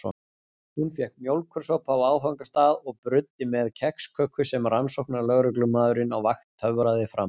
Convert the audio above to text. Hún fékk mjólkursopa á áfangastað og bruddi með kexköku sem rannsóknarlögreglumaðurinn á vakt töfraði fram.